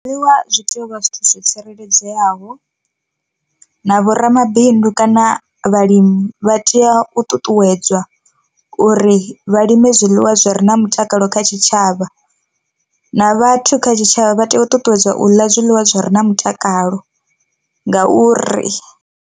Zwiḽiwa zwi tea uvha zwithu zwo tsireledzeaho, na vhoramabindu kana vhalimi vha tea u ṱuṱuwedzwa uri vha lime zwiḽiwa zwi re na mutakalo kha tshitshavha, na vhathu kha tshitshavha vha tea u ṱuṱuwedza u ḽa zwiḽiwa zwi re na mutakalo ngauri.